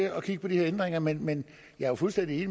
at kigge på de her ændringer men men jeg er fuldstændig